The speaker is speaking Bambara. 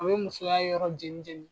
A bɛ musoya yɔrɔ jenijeni.